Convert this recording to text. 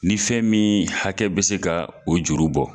Ni fɛn min hakɛ bɛ se ka o juru bɔ.